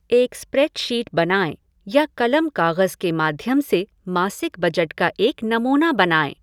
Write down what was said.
एक स्प्रेडशीट बनाएँ या कलम काग़ज़ के माध्यम से मासिक बजट का एक नमूना बनाएँ।